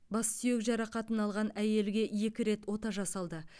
бассүйек жарақатын алған әйелге екі рет ота жасалды